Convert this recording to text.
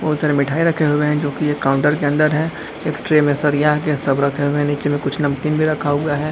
बहुत सारी मिठाई रखे हुए है जो की एक काउंटर के अंदर है इस ट्रे में साड़ियां के सब रखे है नीचे मे कुछ नमकीन भी रखा हुआ है।